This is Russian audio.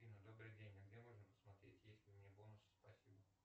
афина добрый день а где можно посмотреть есть ли у меня бонусы спасибо